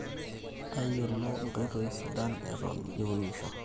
Tayiolo inkoitoi sidan eton iunisho